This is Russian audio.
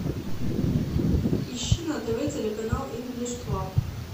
ищи на тв телеканал инглиш клаб